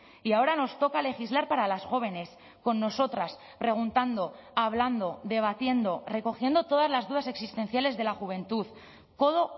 y ahora nos toca legislar para las jóvenes con nosotras preguntando hablando debatiendo recogiendo todas las dudas existenciales de la juventud codo